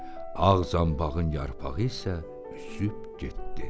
Ağ zanbağın yarpağı isə üzüb getdi.